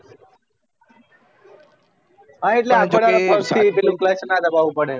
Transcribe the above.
હા એટલે આખો દાડી પગ થી clutch ના દબાવું ના પડે